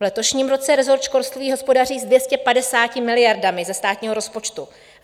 V letošním roce resort školství hospodaří s 250 miliardami ze státního rozpočtu.